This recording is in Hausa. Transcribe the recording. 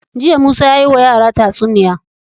Jiya musa yayi wa yara tatsuniya